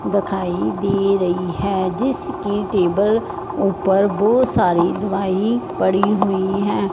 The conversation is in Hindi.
दिखाई दे रही है जिसकी टेबल ऊपर बहोत सारी दवाई पड़ी हुई है।